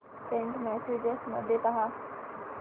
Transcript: Saint messages मध्ये पहा